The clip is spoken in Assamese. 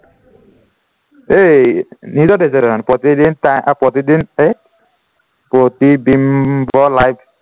এই news ত দেখিছো দেখোন প্ৰতিদিন টাইম অ প্ৰতিদিন হেৰিত প্ৰতিবিম্ব লাইভ